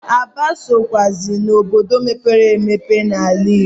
Aba sokwụazi n'obodo mepere emepe n'ala Igbo.